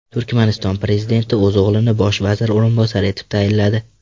Turkmaniston prezidenti o‘z o‘g‘lini bosh vazir o‘rinbosari etib tayinladi.